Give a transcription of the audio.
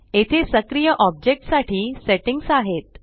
येथे सक्रिय ऑब्जेक्ट साठी सेट्टिंग्स आहेत